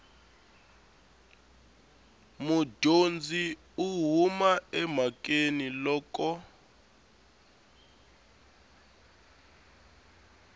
mudyondzi u huma emhakeni loko